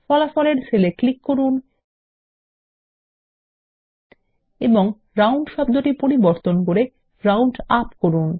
ফলাফলের সেল এ ক্লিক করুন এবং রাউন্ড শব্দটি পরিবর্তন করে রাউন্ড -আপ করুন